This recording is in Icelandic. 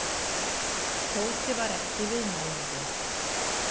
Tóti var ekki viðmælandi.